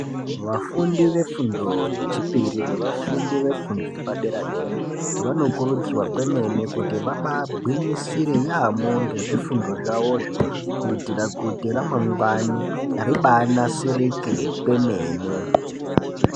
Vafundi vefundo yechipiri nevafundi vefundo yepadera dera, vanokurudzirwa kwemene kuti vabagwinyisire yaamho ngezvifundo zvavozvo kuitira kuti ramangwani ribanasirike kwemene.